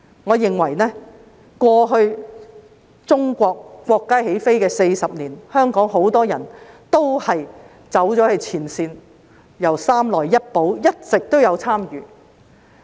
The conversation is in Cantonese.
我認為在過去國家起飛40年中，香港很多人走到前線，由"三來一補"以來一直有參與。